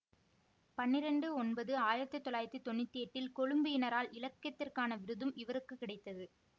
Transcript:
பன்னிரெண்டு ஒன்பது ஆயிரத்தி தொள்ளாயிரத்தி தொன்னூற்தி எட்டில் கொழும்பு யினரால் இலக்கியத்திற்கான விருதும் இவருக்கு கிடைத்தது